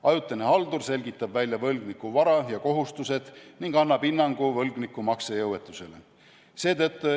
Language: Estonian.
Ajutine haldur selgitab välja võlgniku vara ja kohustused ning annab hinnangu võlgniku maksejõuetusele.